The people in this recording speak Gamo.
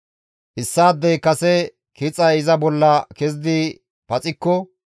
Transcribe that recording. «Issaadey kase kixay iza bolla kezidi paxikko,